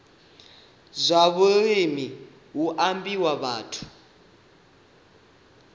zwa vhulimi hu ambiwa vhathu